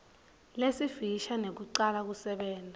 lesifisha nekucala kusebenta